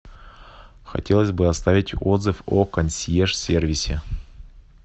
хотелось бы оставить отзыв о консьерж сервисе